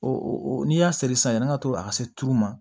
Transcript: n'i y'a seri sisan yanni an ka to ka se tulu ma